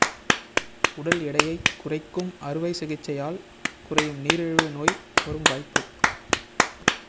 உடல் எடையைக் குறைக்கும் அறுவை சிகிச்சையால் குறையும் நீரிழிவு நோய் வரும் வாய்ப்பு